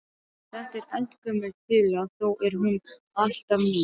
Þetta er eldgömul þula þó er hún alltaf ný.